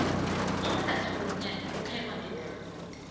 umratha wonyanya uphekwa ngederefude